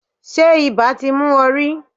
Ṣé ibà ti mú ọ rí?